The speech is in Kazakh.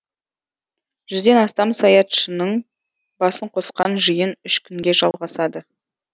жүзден астам саятшының басын қосқан жиын үш күнге жалғасады